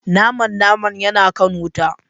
Naman naman yana kan wuta.